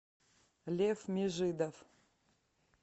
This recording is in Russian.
лев межидов